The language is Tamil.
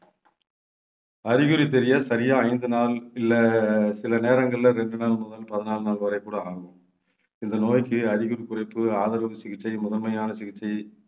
அறிகுறி தெரிய சரியா ஐந்து நாள் இல்லை சில நேரங்கள்ல ரெண்டு நாள் முதல் பதினாலு நாள் வரை கூட ஆகும், இந்த நோய்க்கு அறிகுறி குறைப்பு, ஆதரவு சிகிச்சை முதன்மையான சிகிச்சை